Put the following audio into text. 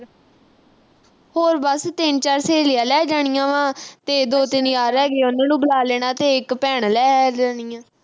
ਹੋਰ ਬਸ ਤਿੰਨ-ਚਾਰ ਸਹੇਲੀਆਂ ਲੈ ਜਾਣੀਆਂ ਵਾਂ। ਤੇ ਦੋ-ਤਿੰਨ ਯਾਰ ਹੈਗੇ, ਉਨ੍ਹਾਂ ਨੂੰ ਬੁਲਾ ਲੈਣਾ ਤੇ ਇੱਕ ਭੈਣ ਲੈ ਲੈਣੀ ਆ।